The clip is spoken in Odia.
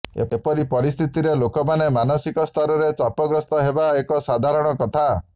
ଏପରି ପରିସ୍ଥିତିରେ ଲୋକମାନେ ମାନସିକସ୍ତରରେ ଚାପଗ୍ରସ୍ତ ହେବା ଏକ ସାଧାରଣ କଥା